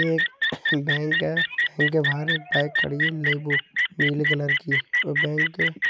ये एक बैंक है। बैंक के बाहर एक बाइक खड़ी है लेबो नीले कलर की व बैंक --